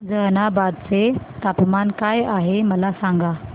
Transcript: जहानाबाद चे तापमान काय आहे मला सांगा